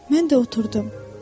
Mən də oturdum.